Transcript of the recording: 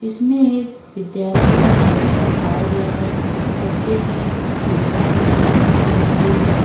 इसमें एक विद्यालय का कक्षा दिखाया गया है। कक्षे में खिड़कियां लगी हैं। खिड़कियों में